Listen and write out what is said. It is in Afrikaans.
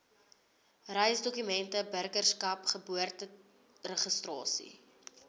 reisdokumente burgerskap geboorteregistrasie